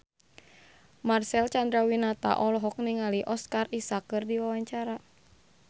Marcel Chandrawinata olohok ningali Oscar Isaac keur diwawancara